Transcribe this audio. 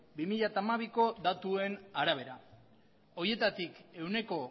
bi mila hamabiko datuen arabera horietatik ehuneko